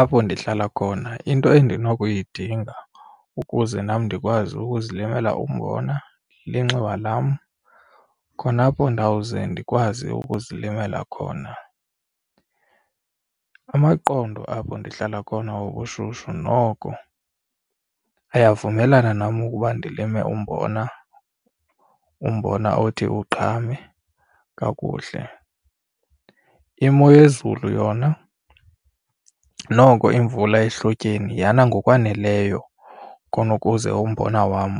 Apho ndihlala khona into endinokuyidinga ukuze nam ndikwazi ukuzilimela umbona linxiwa lam khona apho ndawuze ndikwazi ukuzilimela khona. Amaqondo apho ndihlala khona obushushu noko ayavumelana nam ukuba ndilime umbona, umbona othi uqhame kakuhle. Imo yezulu yona noko imvula ehlotyeni yana ngokwaneleyo khona ukuze umbona wam